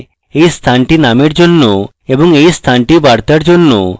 এই স্থানটি নামের জন্য এবং এই স্থানটি বার্তার জন্য